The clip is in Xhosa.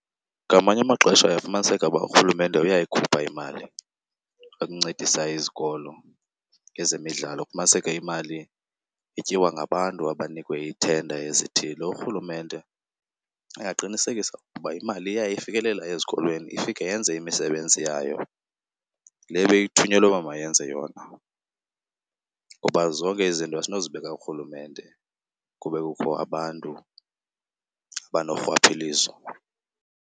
Ngamanye amaxesha uyafumaniseka uba uRhulumemte uyayikhupha imali yokuncedisa izikolo ngezemidlalo. Kufumaniseke imali ityiwa ngabantu abanikwe ii-tender ezithile. URhulumente uye aqinisekise uba imali iya ifikelela ezikolweni ifike yenze imisebenzi yayo le beyithunyelwe uba mayenze yona, kuba zonke izinto asinozibeka kuRhulumente kube kukho abantu abanorhwaphilizo.